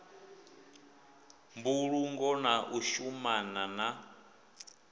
mbulungo na u shumana na